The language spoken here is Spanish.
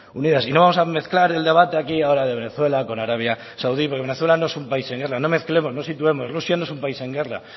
unidas y no vamos a mezclar el debate aquí ahora de venezuela con arabia saudí porque venezuela no es un país en guerra no mezclemos no situemos rusia no es un país en guerra